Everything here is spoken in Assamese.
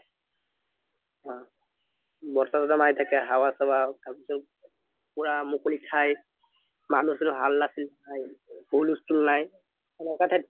বতাহ চতা মাৰি থাকে হাৱা সাৱা পুৰা মুকলি ঠাই মানুহ চানো হাল্লা চিল্লা হুলষ্টোল নাই সেনেকোৱা ঠাইত